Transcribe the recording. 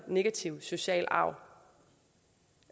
negative sociale arv